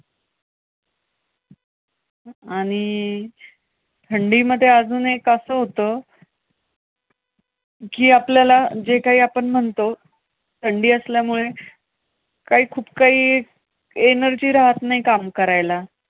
आणि, थंडीमध्ये अजून एक असं होतं, कि आपल्याला, जे काही आपण म्हणतो. थंडी असल्यामुळे काही खूप काही energy रहात नाही काम करायला.